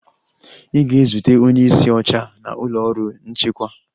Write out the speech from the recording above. Ị ga-ezute onye isi oche na ụlọ ọrụ nchịkwa.